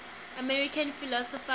american philosophers